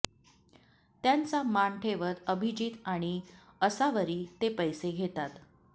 त्यांचा मान ठेवत अभिजीत आणि असावरी ते पैसे घेतात